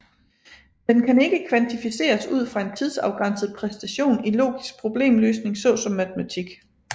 Den kan ikke kvantificeres ud fra en tidsafgrænset præstation i logisk problemløsning såsom matematik